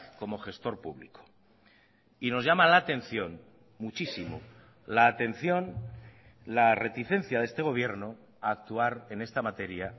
como gestor público y nos llama la atención muchísimo la atención la reticencia de este gobierno a actuar en esta materia